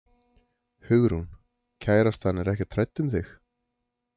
Hugrún: Kærastan er ekkert hrædd um þig?